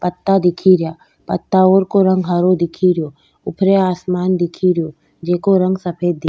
पत्ता दिखेरा पताओ को रंग हरो दिखे रियो ऊपरे आसमान दिखे रियो जेको रंग सफेद दिख --